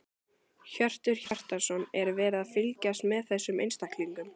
Hjörtur Hjartarson: Er verið að fylgjast með þessum einstaklingum?